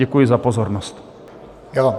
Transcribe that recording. Děkuji za pozornost.